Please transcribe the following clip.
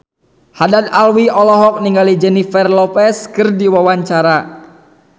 Haddad Alwi olohok ningali Jennifer Lopez keur diwawancara